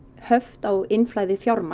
höft á innflæði fjármagns